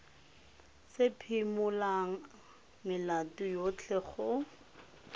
se phimolang melato yotlhe go